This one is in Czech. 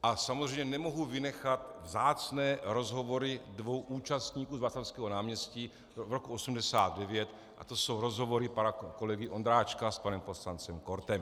A samozřejmě nemohu vynechat vzácné rozhovory dvou účastníků z Václavského náměstí v roce 1989, a to jsou rozhovory pana kolegy Ondráčka s panem poslancem Kortem.